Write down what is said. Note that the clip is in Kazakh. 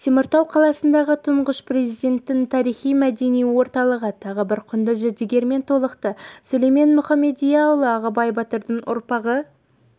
теміртау қаласындағы тұңғыш президенттің тарихи-мәдени орталығы тағы бір құнды жәдігермен толықты сүлеймен мұхамедияұлы ағыбай батырдың ұрпағы